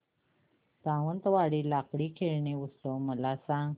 सावंतवाडी लाकडी खेळणी उत्सव मला सांग